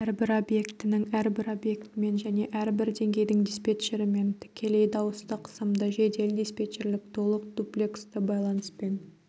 әрбір объектінің әрбір объектімен және әрбір деңгейдің диспетчерімен тікелей дауыстық сымды жедел-диспетчерлік толық дуплексті байланыспен